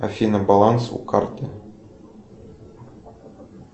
афина баланс у карты